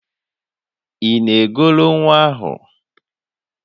Ị na-egoro nwa ahụ?